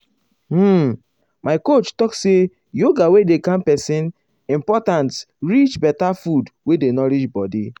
um my coach talk say yoga wey dey calm person important reach better food wey dey nourish body.